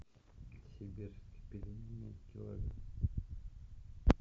сибирские пельмени килограмм